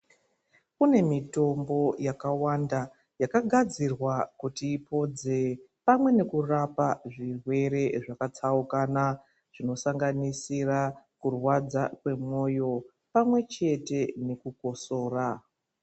Kune mitombo yakawanda yakagadzirwa kuti ipodze pamwe nekurapa zvirwere zvakatsaukana. Zvinosanganisira kurwadza kwemwoyo pamwechete nekukosora.